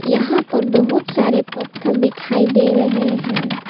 यहां पर बहुत सारे पत्थल दिखाई दे रहे हैं।